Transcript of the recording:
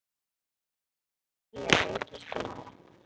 Hann uppgötvaði nýja reikistjörnu!